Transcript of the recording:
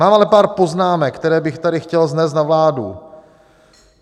Mám ale pár poznámek, které bych tady chtěl vznést na vládu.